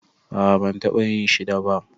A'a ban taba yin shi da ba.